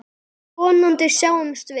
Vonandi sjáumst við.